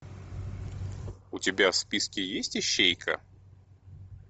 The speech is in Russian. у тебя в списке есть ищейка